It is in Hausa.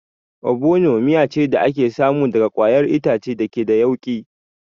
Obono miya ce da ake samu daga ƙwayar itace da ke da yauƙi